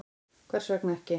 Hvers vegna ekki?